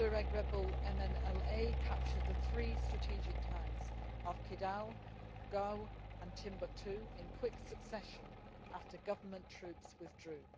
The Tuareg rebel MNLA captured the three strategic towns of Kidal, Gao and Timbuktu in quick succession after government troops withdrew.